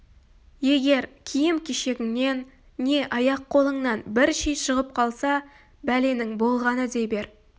егер киім-кешегіңнен не аяқ-қолыңнан бір ши шығып қалса бәленің болғаны дей бер